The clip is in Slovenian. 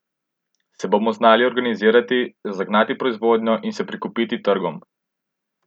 Se bomo znali organizirati, zagnati proizvodnjo in se prikupiti trgom?